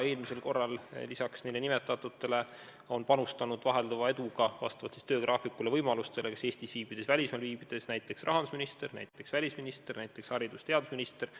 Eelmistel kordadel on lisaks nendele nimetatutele vahelduva eduga, vastavalt oma töögraafikule ja muudele võimalustele – kas nad on Eestis viibinud või välismaal olnud – panustanud näiteks rahandusminister, välisminister ja haridus- ja teadusminister.